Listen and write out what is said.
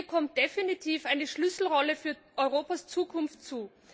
Ihr kommt definitiv eine Schlüsselrolle für Europas Zukunft zu.